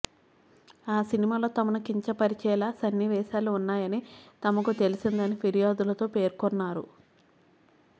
ఆ సినిమాలో తమను కించపరిచేలా సన్నివేశాలు ఉన్నాయని తమకు తెలిసిందని ఫిర్యాదులో పేర్కొన్నారు